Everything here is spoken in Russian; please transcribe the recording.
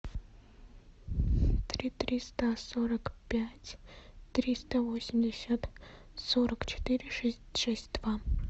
три триста сорок пять триста восемьдесят сорок четыре шесть два